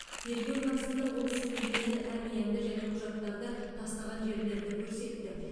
тергеу барысында ол сөмкені әмиянды және құжаттарды тастаған жерлерді көрсетті